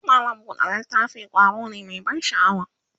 mallam buɗe littafi ƙwaro ne Mai ban sha'awa